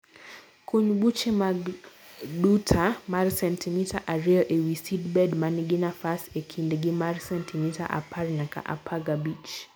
kuny buche mag duta mar sentimita ariyo ewi seedbed manigi nafas e kindgi mar sentimita apar nyaka apakabich